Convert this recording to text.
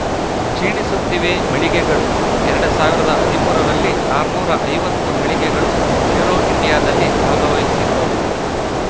ಕ್ಷೀಣಿಸುತ್ತಿವೆ ಮಳಿಗೆಗಳು ಎರಡ್ ಸಾವಿರದ ಹದಿಮೂರ ರಲ್ಲಿ ಆರುನೂರ ಐವತ್ತು ಮಳಿಗೆಗಳು ಏರೋ ಇಂಡಿಯಾದಲ್ಲಿ ಭಾಗವಹಿಸಿದ್ದವು